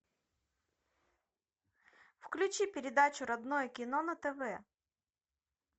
включи передачу родное кино на тв